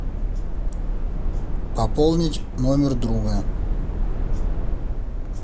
пополнить номер друга